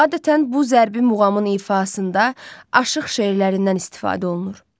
Adətən bu zərbi muğamın ifasında aşıq şeirlərindən istifadə olunur.